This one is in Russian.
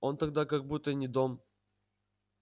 он тогда как будто и не дом